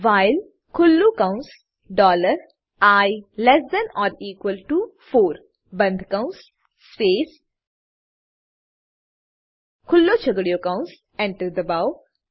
while ખુલ્લું કૌંસ dollar i less than or equal to four બંધ કૌંસ સ્પેસ ખુલ્લો છગડીયો કૌંસ enter દબાવો